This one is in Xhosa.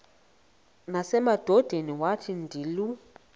nasemadodeni wathi ndilu